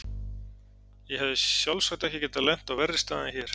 Ég hefði sjálfsagt ekki getað lent á verri stað en hér.